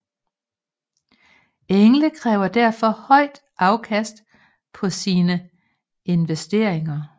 Engle kræver derfor høj afkast på sine investeringer